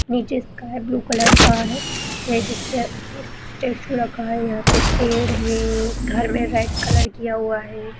नीचे sky blue colour का हैं जिसके स्टेचू रखा हुआ हैं यहाँ पे पेड़ हैं घर में रेड कलर किया हुआ हैं।